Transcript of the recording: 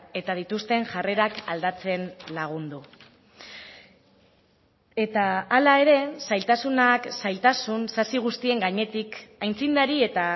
eta dituzten jarrerak aldatzen lagundu eta hala ere zailtasunak zailtasun sasi guztien gainetik aitzindari eta